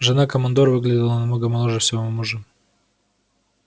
жена командора выглядела намного моложе своего мужа